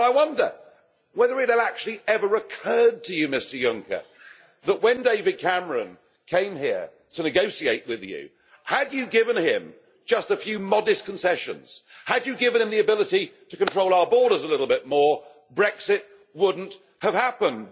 And I wonder whether it actually ever occurred to you, Mr Juncker, that when David Cameron came here to negotiate with you, had you given him just a few modest concessions, had you given him the ability to control our borders a little bit more, Brexit would not have happened.